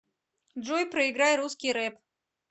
джой проиграй русский рэп